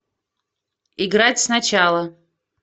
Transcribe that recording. играть сначала